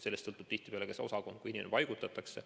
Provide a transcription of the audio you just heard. Sellest sõltub tihtipeale ka see osakond, kuhu inimene paigutatakse.